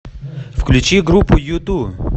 включи группу юту